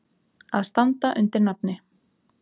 Að standa undir nafni.